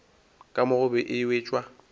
ka mo gobe e wetšwa